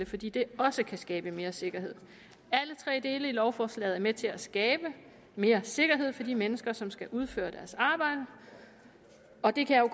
fordi det også kan skabe mere sikkerhed alle tre dele i lovforslaget er med til at skabe mere sikkerhed for de mennesker som skal udføre deres arbejde og det kan